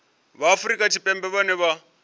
vha afrika tshipembe vhane vha